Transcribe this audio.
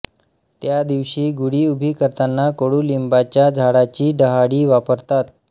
त्या दिवशी गुडी उभी करताना कडूलिंबाच्या झाडाची डहाळी वापरतात